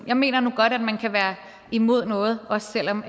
jeg mener nu godt at man kan være imod noget også selv om